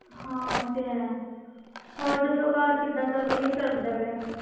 ਹਾਂ ਉਹ ਤੇ ਹੈ ਹੋਰ ਦੱਸੋ ਘਰ ਕਿੱਦਾਂ ਸਭ ਵਧੀਆ ਚੱਲਦਾ ਪਿਆ ਹੈ।